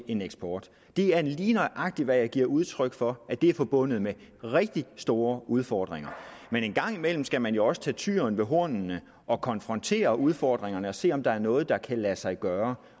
en eksport det er lige nøjagtig hvad jeg giver udtryk for at det er forbundet med rigtig store udfordringer men en gang imellem skal man jo også tage tyren ved hornene og konfrontere udfordringerne og se om der er noget der kan lade sig gøre